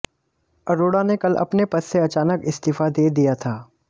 अरोड़ा ने कल अपने पद से अचानक इस्तीफा दे दिया था